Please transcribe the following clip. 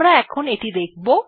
আমরা এখন এটি দেখব